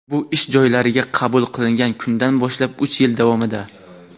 bu ish joylariga qabul qilingan kundan boshlab uch yil davomida.